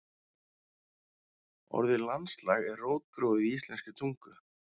Orðið landslag er rótgróið í íslenskri tungu.